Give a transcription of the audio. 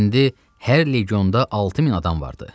İndi hər legonda 6000 adam vardı.